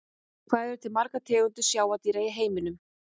Hvað eru til margar tegundir sjávardýra í heiminum?